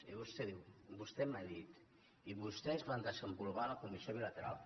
i vostè diu vostè m’ha dit i vostès van desenvolupar la comissió bilateral